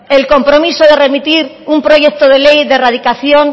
el grabazio akatsa de erradicación